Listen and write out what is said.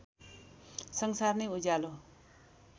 संसार नै उज्यालो